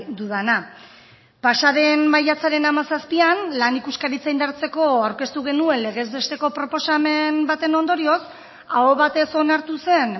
dudana pasaden maiatzaren hamazazpian lan ikuskaritza indartzeko aurkeztu genuen legez besteko proposamen baten ondorioz aho batez onartu zen